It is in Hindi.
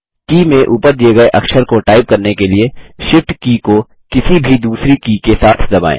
की में ऊपर दिए गये अक्षर को टाइप करने के लिए Shift की को किसी भी दूसरी की के साथ दबाएँ